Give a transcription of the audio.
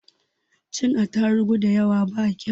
Cin atarugu dayawa ba kau